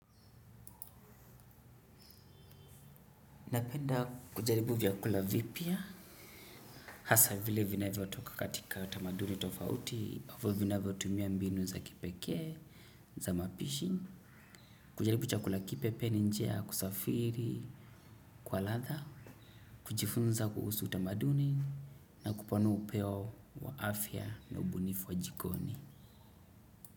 Napenda kujaribu vyakula vipya, hasa vile vinaivyo toka katika utamaduni tofauti, avu vinaivyo tumia mbinu za kipeke, za mapishi, kujaribu chakula kipya pia njia, ya kusafiri, kwa latha, kujifunza kuhusu utamaduni, na kupanua upeo wa afya na ubunifu wa jikoni.